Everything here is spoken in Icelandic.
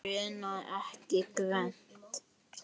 Grunaði ekki Gvend.